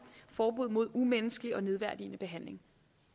forbud mod umenneskelig og nedværdigende behandling